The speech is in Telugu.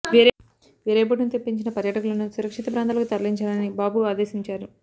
వేరే బోటును తెప్పించిన పర్యాటకులను సురక్షిత ప్రాంతాలకు తరలించాలని బాబు ఆదేశించారు